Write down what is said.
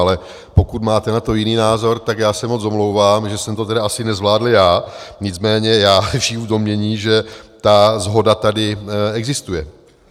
Ale pokud máte na to jiný názor, tak já se moc omlouvám, že jsem to tedy asi nezvládl já, nicméně já žiju v domnění, že ta shoda tady existuje.